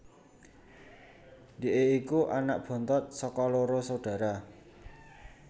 Dhike iku anak bontot saka loro saudara